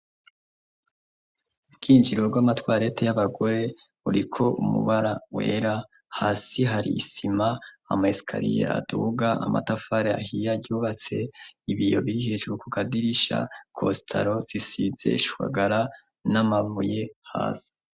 Ubwinjiriro rw'amatwarete y'abagore, uriko umubara wera, hasi hari isima, ama escalier aduga, amatafari ahiye aryubatse, ibiyo bihishwe ku kadirisha costaro zisize ishwagara n'amavuye hasi.